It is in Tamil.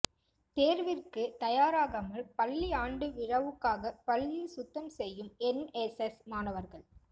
தேர்விற்கு தயாராகாமல் பள்ளி ஆண்டு விழாவுக்காக பள்ளியை சுத்தம் செய்யும் என்எஸ்எஸ் மாணவர்கள்